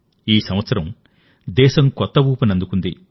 ఈ సంవత్సరం దేశం కొత్త ఊపందుకుంది